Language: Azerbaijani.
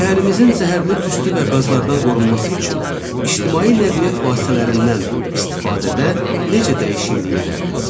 Şəhərimizin zəhərli tüstü və qazlardan qorunması üçün ictimai nəqliyyat vasitələrindən istifadədə necə dəyişiklik edərdiz?